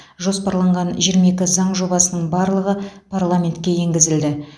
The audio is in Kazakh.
жоспарланған жиырма екі заң жобасының барлығы парламентке енгізілді